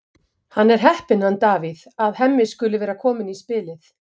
Hann er heppinn, hann Davíð, að Hemmi skuli vera kominn í spilið.